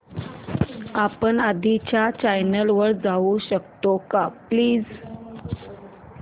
आपण आधीच्या चॅनल वर जाऊ शकतो का प्लीज